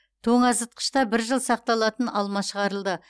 тоңазытқышта бір жыл сақталатын алма шығарылды